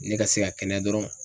Ne ka se ka kɛnɛya dɔrɔn.